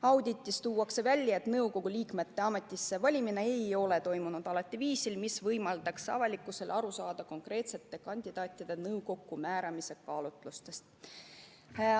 Auditis tuuakse välja, et nõukogu liikmete ametisse valimine ei ole toimunud alati viisil, mis võimaldaks avalikkusel aru saada konkreetsete kandidaatide nõukokku määramise kaalutlustest.